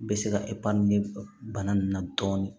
Bɛ se ka bana nin na dɔɔni